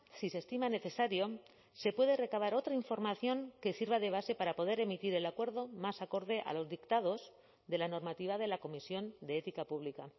si se estima necesario se puede recabar otra información que sirva de base para poder emitir el acuerdo más acorde a los dictados de la normativa de la comisión de ética pública